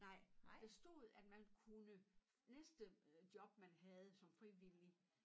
Nej for der stod at man kunne næste øh job man havde som frivillig